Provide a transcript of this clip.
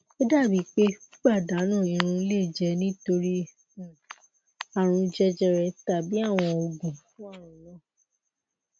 o dabi pe pipadanu irun le jẹ nitori um arun jejere tabi awọn oogun fun arun naa